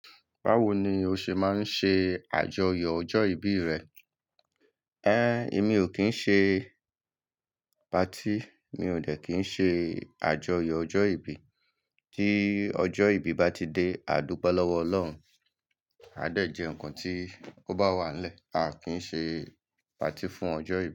Báwo ni o ṣe má ń ṣe àjọyọ̀ ọjọ́ ìbí rẹ? Ẹn, èmi ò kí ń ṣe party. Mi ò dé kí ń ṣe àjọyọ̀ ọjọ́ ìbí. Tí ọjọ́ ìbí bá ti dé, a dúpẹ́ lọ́wọ́ Ọlọ́run. A dẹ̀ jẹ́ nǹkan tí kò bá wà lẹ́, a kí ń ṣe party fún ọjọ́ ìbí.